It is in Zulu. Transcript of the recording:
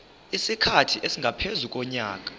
isikhathi esingaphezu konyaka